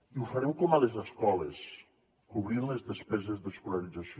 i ho farem com a les escoles cobrint les despeses d’escolarització